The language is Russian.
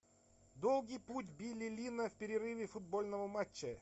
долгий путь билли линна в перерыве футбольного матча